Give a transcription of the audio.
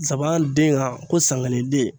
Zaban den kan ko sankelen den